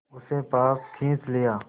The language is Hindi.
उसे पास खींच लिया